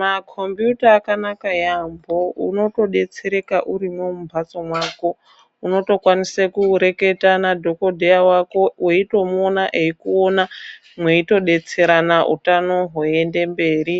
Makombiyuta akanaka yambo unotodetsereka urimo mumbatso mako unotokwanisa kureketa nadhokodheya wako unosisa kureketa nadhokodheya wako weimuona eikuona meitodetserana hutano hweienda mberi